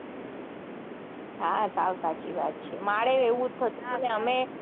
હા સાવ સાચી વાત છે મારેય એવું જ થતું તું અમે